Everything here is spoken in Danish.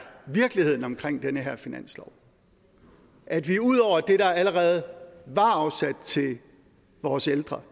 virkeligheden omkring den her finanslov at vi ud over det der allerede var afsat til vores ældre